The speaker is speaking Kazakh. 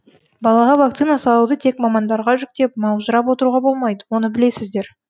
балаға вакцина салуды тек мамандарға жүктеп маужырап отыруға болмайды оны білесіздер